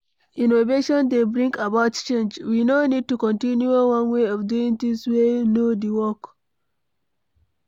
innovation dey bring about change, we no need to continue one way of doing things wey no de work